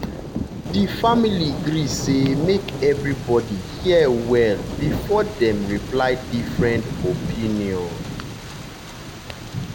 di family gree say make everybody hear well before dem reply different opinion.